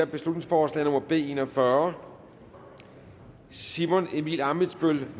beslutningsforslag nummer b en og fyrre simon emil ammitzbøll